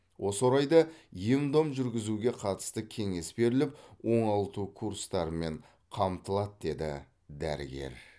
осы орайда ем дом жүргізуге қатысты кеңес беріліп оңалту курстарымен қамтылады деді дәрігер